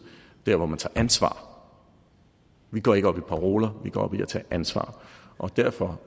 dér hvor man tager ansvar vi går ikke op i paroler vi går op i at tage ansvar og derfor